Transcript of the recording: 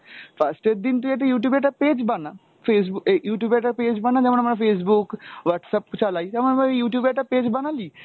first এর দিন তুই একটা Youtube এ একটা page বানা, Facebook এই Youtube এ একটা page বানা যেমন আমরা Facebook, Whatsapp চালায় যেমন ধর Youtube এ একটা page বানালি